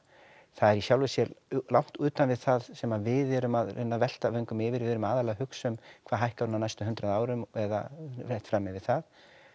það er í sjálfu sér langt utan við það sem við erum að reyna að velta vöngum yfir við erum aðallega að hugsa um hvað hækkar hún á næstu hundrað árum og eða rétt fram yfir það